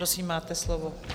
Prosím, máte slovo.